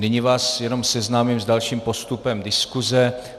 Nyní vás jenom seznámím s dalším postupem diskuse.